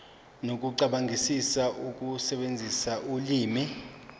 nokucabangisisa ukusebenzisa ulimi